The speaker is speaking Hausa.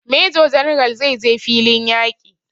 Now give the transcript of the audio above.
Major general zai je filin yaƙi